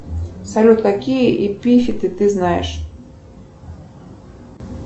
салют какие эпифиты ты знаешь